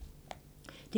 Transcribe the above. DR1